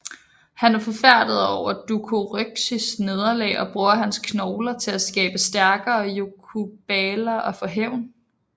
Han er forfærdet over Dokuroxys nederlag og bruger hans knogler til at skabe stærkere yokubaler og få hævn